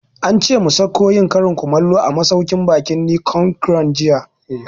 Ance mu sauko yin karin kumallo a masauƙin baƙin Nicon Grand jiya